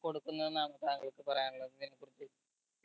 കൊടുക്കുന്നെന്ന് ആണോ താങ്കൾക്ക് പറയാനുള്ളത് അയിന കുറിച്ച്